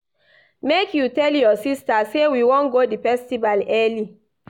Make you tell your sista say we wan go di festival early.